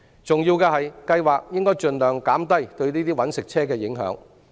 重要的是，計劃應盡量減低對這些"搵食車"的影響。